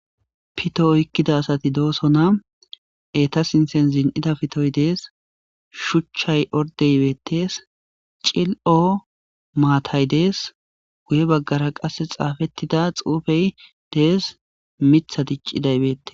Poto oykida asati dosona eta sintan zin'ida pitoy dees shuchay order betes cililo matay dees guye bagara qase xafetida xufey dees mitay dic'iday betes.